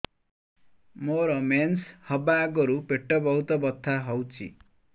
ମୋର ମେନ୍ସେସ ହବା ଆଗରୁ ପେଟ ବହୁତ ବଥା ହଉଚି